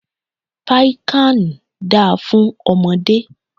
Piccan da fún ọmọdé.